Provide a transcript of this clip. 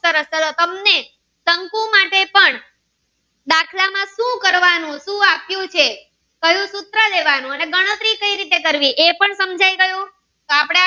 લખ્યું છે કયું સૂત્ર લેવાનું ગણતરી કઈ રીતે કરવી એ પણ સમજાય ગયું તો આપણે